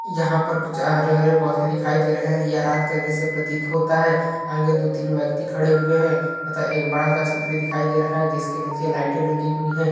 यहाँ पर कुछ हरे-हरे पौधे दिखाई दे रहा है यह रात क दृश्य प्रतीत होता है आगे दो तीन व्यक्ति खड़े हुए हैं तथा एक बड़ा सा छतरी दिखाई दे रहा है जिसके नीचे लाइटे लगी हुई हैं।